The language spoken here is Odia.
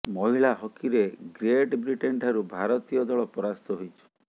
ମହିଳା ହକିରେ ଗ୍ରେଟ୍ ବ୍ରିଟେନ୍ ଠାରୁ ଭାରତୀୟ ଦଳ ପରାସ୍ତ ହୋଇଛି